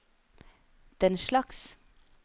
denslags